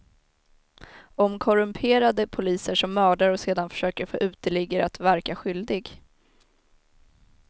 Om korrumperade poliser som mördar och sedan försöker få uteliggare att verka skyldig.